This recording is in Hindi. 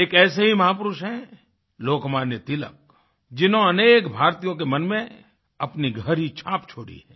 एक ऐसे ही महापुरुष हैं लोकमान्य तिलक जिन्होंने अनेक भारतीयों के मन में अपनी गहरी छाप छोड़ी है